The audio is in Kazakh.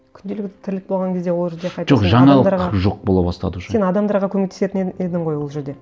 күнделік тірлік болған кезде ол жерді жоқ жаңалық жоқ бола бастады уже сен адамдарға көмектесетін едің ғой ол жерде